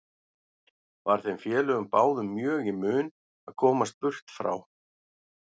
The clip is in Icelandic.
Var þeim félögum báðum mjög í mun að komast burt frá